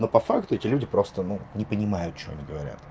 но по факту эти люди просто не понимают что они говорят